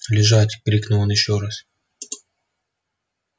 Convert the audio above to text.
лежать крикнул он ещё раз